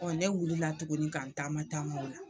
ne wulila tuguni ka n taama tama o la.